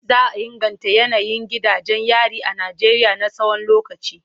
Za a inganta yanayin gidajen yari a Najeriya na tsawon lokaci.